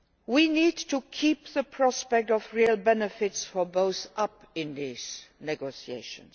We need to keep up the prospect of real benefits for both in these negotiations.